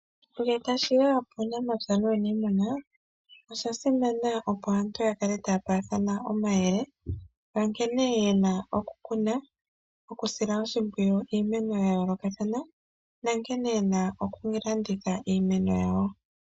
Ngele tashiya kuunamapya nuunimuna osha simana opo aantu ya kale taya paathana omayele nkene yena okukuna okusila oshimpwiyu iimeno yayoolokothana nankene yena okulanditha iimeno yawo.